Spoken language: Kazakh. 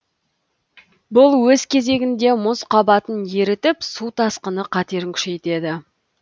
бұл өз кезегінде мұз қабатын ерітіп су тасқыны қатерін күшейтеді